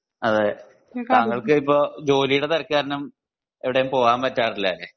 അത് താങ്കൾക്ക് ഇപ്പൊ ജോലീടെ തിരക്ക് കാരണം എവിടേം പോവാൻ പറ്റാറില്ല അല്ല